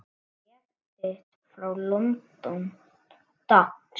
Bréf þitt frá London, dags.